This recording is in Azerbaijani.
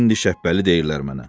İndi Şəbbəli deyirlər mənə.